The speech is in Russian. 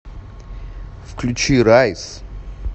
включи райз